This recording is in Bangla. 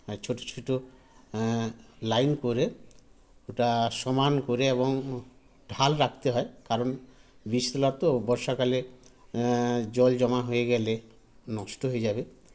আ ছোটো ছোটো আ line করে ওটা সমান করে এবং ঢাল রাখতে হয় কারণ বীজতলা তো বর্ষা কালে আআআ জল জমা হয়ে গেলে নষ্ট হয়ে যাবে